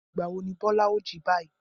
Ìgbà wo ni Bọ́lá ó jí báyìí?